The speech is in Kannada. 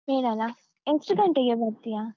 ಬೇಡಲ್ಲ? ಎಷ್ಟು ಗಂಟೆಗೆ ಬರ್ತೀಯಾ?